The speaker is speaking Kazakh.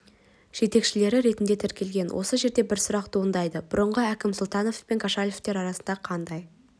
жетекшілері ретінде тіркелген осы жерде бір сұрақ туындайды бұрынғы әкім сұлтанов пен кошалевтер арасында қандай